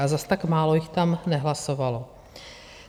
A zas tak málo jich tam nehlasovalo.